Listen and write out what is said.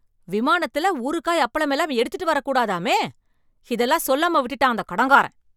விமானத்துல ஊறுகாய், அப்பளம் எல்லாம் எடுத்துட்டு வரக் கூடாதாமே, இதெல்லாம் சொல்லாம விட்டுட்டான் அந்த கடன்காரன்.